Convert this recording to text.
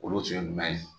Olu tun ye jumɛn ye